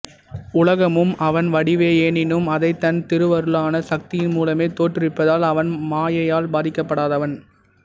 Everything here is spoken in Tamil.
உலகமும் அவன் வடிவே எனினும் அதைத் தன் திருவருளான சக்தியின் மூலமே தோற்றுவிப்பதால் அவன் மாயையால் பாதிக்கப்படாதவன்